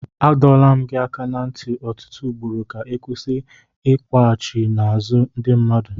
Adọwo m gị aka ná ntị ọtụtụ ugboro ka ị kwụsị Ị n'ekwughachi n'azụ ndị mmadụ.